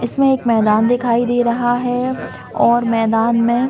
इसमें एक मैदान दिखाई दे रहा है और मैदान मे--